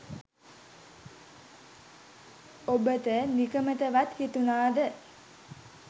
ඔබට නිකමටවත් හිතුනාද